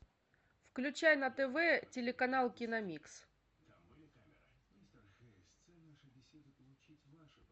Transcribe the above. включай на тв телеканал киномикс